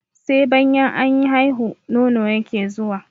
Sai banyan an haihu, nono yake zuwa.